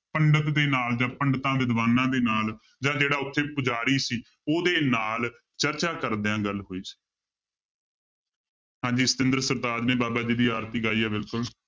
ਪੰਡਤ ਦੇ ਨਾਲ ਜਾਂਂ ਪੰਡਿਤਾਂ ਦੇ ਦਿਵਾਨਾਂ ਦੇ ਨਾਲ ਜਾਂ ਜਿਹੜਾ ਉੱਥੇ ਪੁਜਾਰੀ ਸੀ ਉਹਦੇ ਨਾਲ ਚਰਚਾ ਕਰਦਿਆਂ ਗੱਲ ਹੋਈ ਸੀ ਹਾਂਜੀ ਸਤਿੰਦਰ ਸਰਤਾਜ ਨੇ ਬਾਬਾ ਜੀ ਦੀ ਆਰਤੀ ਗਾਈ ਹੈ ਬਿਲਕੁਲ।